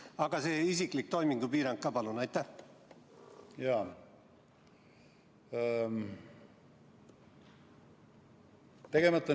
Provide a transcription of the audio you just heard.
Aga see isiklik toimingupiirang ka, palun!